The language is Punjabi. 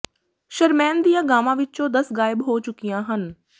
ਸ਼ਰਮੈਨ ਦੀਆਂ ਗਾਵਾਂ ਵਿੱਚੋਂ ਦਸ ਗਾਇਬ ਹੋ ਚੁੱਕੀਆਂ ਹਨ